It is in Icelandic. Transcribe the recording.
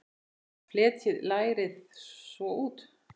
Fletjið lærið svo út.